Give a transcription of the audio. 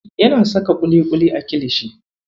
Yana saka ƙuliƙuli a kilishi.